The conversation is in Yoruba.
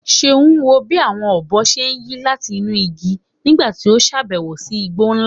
Ṣeun wo bí àwọn ọ̀bọ ṣe ń yí láti inú igi nígbà tí ó ṣàbẹ̀wò sí igbó ńlá.